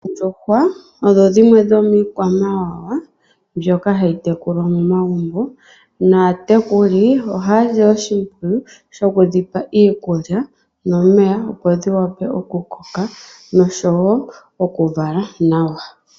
Oondjuhwa odho dhimwe dho miikwamawawa mbyoka hayi tekulwa momagumbo. Aatekuli ohaya si oshimpwiyu shiku dhipa iikulya nomeya opo dhi wape oku koka nosho woo oku vala nawa.